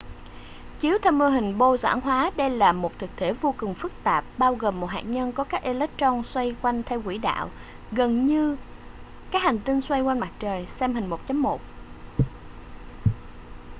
chiếu theo mô hình bohr giản hóa đây là một thực thể vô cùng phức tạp bao gồm một hạt nhân có các electron xoay quanh theo quỹ đạo gần giống như các hành tinh xoay quanh mặt trời xem hình 1.1